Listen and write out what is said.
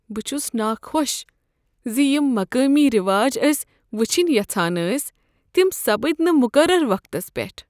بہٕ چھُس ناخۄش ز یم مقٲمی ریواج أسۍ وٕچھنہِ یژھان ٲسۍ تِم سپٕدۍ نہٕ مُقررٕ وقتس پٮ۪ٹھ۔